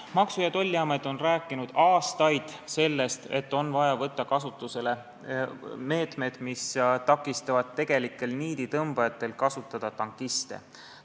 Maksu- ja Tolliamet on rääkinud aastaid sellest, et on vaja võtta kasutusele meetmed, mis takistavad tegelikel niiditõmbajatel kasutada tankiste.